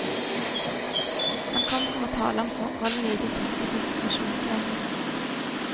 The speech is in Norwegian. Han kom for å tale om forholdene i de tyske konsentrasjonsleirene.